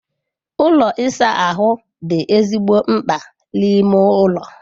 Ụlọ ịsa ahụ dị ezigbo mkpa n'ime ụlọ.